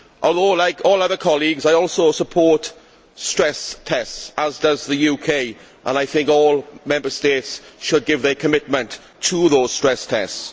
However, like all other colleagues, I also support stress tests as does the UK and I think all Member States should give their commitment to those stress tests.